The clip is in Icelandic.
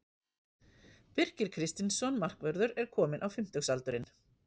Birkir Kristinsson markvörður er kominn á fimmtugsaldurinn.